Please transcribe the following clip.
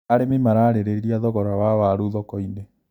Arĩmi mararĩrĩria thogora wa waru thokoinĩ.